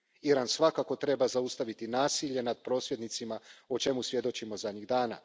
Iran svakako treba zaustaviti nasilje nad prosvjednicima o čemu svjedočimo zadnjih dana.